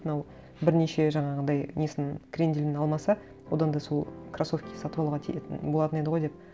мынау бірнеше жаңағындай несін кренделін алмаса одан да сол кроссовки сатып алуға болатын еді ғой деп